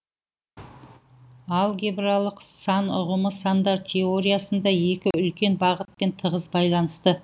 алгебралық сан ұғымы сандар теориясында екі үлкен бағытпен тығыз байланысты